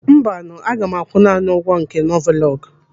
Mbanụ, aga m akwụ naanị ụgwọ nke novolọgu.